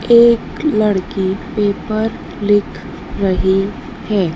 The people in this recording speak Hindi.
एक लड़की पेपर लिख रही है।